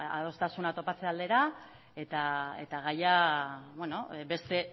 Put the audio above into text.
ba beno adostasuna topatze aldera eta gaia beste